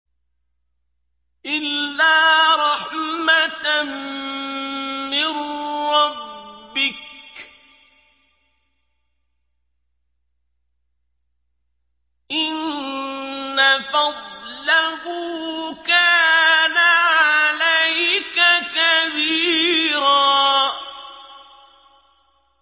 إِلَّا رَحْمَةً مِّن رَّبِّكَ ۚ إِنَّ فَضْلَهُ كَانَ عَلَيْكَ كَبِيرًا